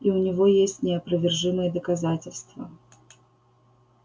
и у него есть неопровержимые доказательства